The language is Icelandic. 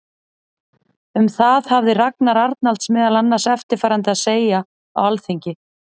Um það hafði Ragnar Arnalds meðal annars eftirfarandi að segja á Alþingi